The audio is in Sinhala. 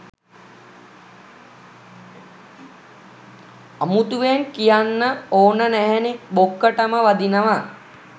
අමුතුවෙන් කියන්න ඕන නැහැනෙ බොක්කටම වදිනව.